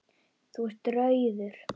Þú ert rauður.